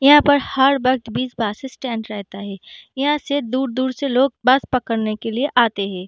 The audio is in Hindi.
यहाँ पर हर वक्त बीस बस स्टैंड रहता है यहाँ से दूर-दूर से लोग बस पकड़ने के लिए आते हैं।